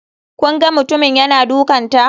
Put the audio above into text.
Kun ga mutumin yana dukanta?